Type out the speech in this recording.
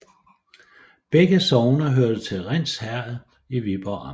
Begge sogne hørte til Rinds Herred i Viborg Amt